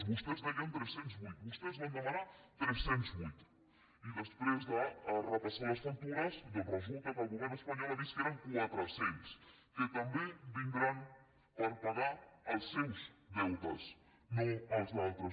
vostès deien tres cents i vuit vostès en van demanar tres cents i vuit i després de repassar les factures doncs resulta que el govern espanyol ha vist que eren quatre cents que també vindran per pagar els seus deutes no els altres